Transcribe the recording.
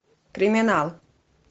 криминал